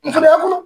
N fɛnɛ